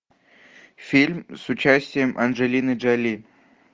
фильм с участием анджелины джоли